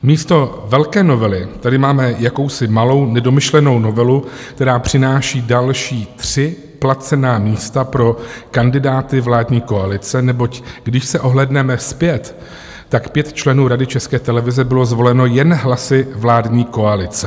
Místo velké novely tady máme jakousi malou nedomyšlenou novelu, která přináší další tři placená místa pro kandidáty vládní koalice, neboť když se ohlédneme zpět, tak pět členů Rady České televize bylo zvoleno jen hlasy vládní koalice.